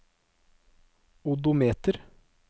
odometer